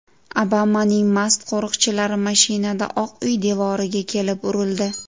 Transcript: Obamaning mast qo‘riqchilari mashinada Oq uy devoriga kelib urildi.